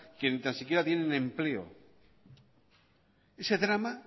que ni tan siquiera tiene empleo ese drama